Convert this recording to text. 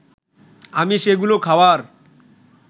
আমি সেগুলো খাওয়ার